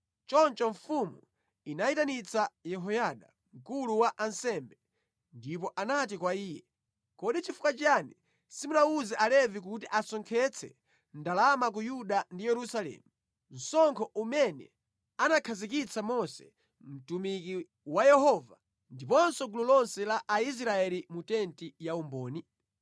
Choncho mfumu inayitanitsa Yehoyada, mkulu wa ansembe ndipo inati kwa iye, “Kodi nʼchifukwa chiyani simunawuze Alevi kuti asonkhetse ndalama ku Yuda ndi Yerusalemu, msonkho umene anakhazikitsa Mose mtumiki wa Yehova ndiponso gulu lonse la Aisraeli mu tenti yaumboni?”